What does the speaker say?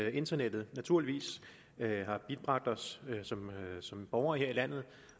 at internettet naturligvis har bibragt os som borgere her i landet